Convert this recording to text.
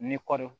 Ni kɔɔri